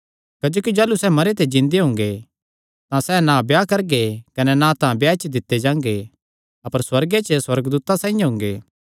क्जोकि जाह़लू सैह़ मरेयां च जिन्दे हुंगे तां सैह़ ना ब्याह करगे कने ना तां ब्याह च दित्ते जांगे अपर सुअर्गे च सुअर्गदूतां साइआं हुंगे